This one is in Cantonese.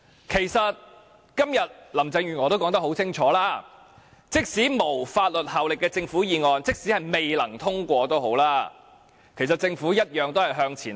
其實，林鄭月娥今天已說得很清楚，即使政府議案沒有法律效力，即使它未能通過，政府一樣會向前行。